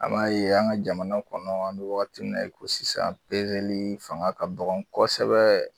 An b'a ye an ka jamana kɔnɔ an bɛ wagati min na i ko sisan pezeli fanga ka kɔgɔn kosɛbɛ.